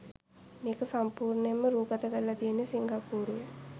මේක සම්පුර්ණයෙන්ම රෑගත කරල තියෙන්නෙ සිංග්පුරුවේ.